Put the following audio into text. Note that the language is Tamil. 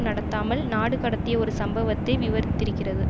நடத்தாமல் நாடு கடத்திய ஒரு சம்பவத்தை விவரித்திருக்கிறது